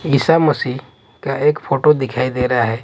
ईसा मसीह का एक फोटो दिखाई दे रहा है।